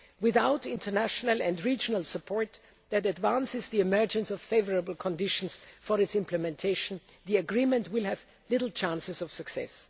process. Without international and regional support that advances the emergence of favourable conditions for its implementation, the agreement will have little chance of